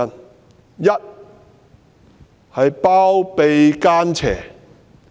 第一，她包庇奸邪。